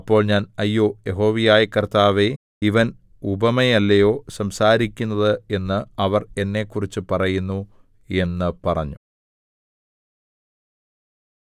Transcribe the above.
അപ്പോൾ ഞാൻ അയ്യോ യഹോവയായ കർത്താവേ ഇവൻ ഉപമയല്ലയോ സംസാരിക്കുന്നത് എന്ന് അവർ എന്നെക്കുറിച്ച് പറയുന്നു എന്ന് പറഞ്ഞു